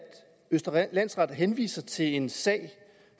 østre landsret henviser til en sag